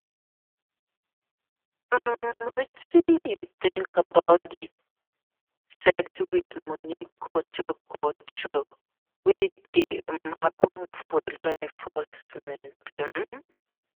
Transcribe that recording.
um Wetin you think about di 'settle with money' culture culture wey dey um happen for law enforcement? um